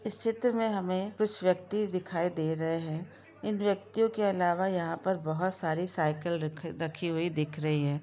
इस चित्र मे हमे कुछ वयक्ति दिखाई दे रहे हैइन व्यक्तियों के अलावा यहां पर बहुत सारी साईकिल रखी हुई दिख रही है।